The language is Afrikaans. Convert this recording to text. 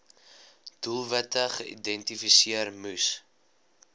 doelwitte geïdentifiseer moes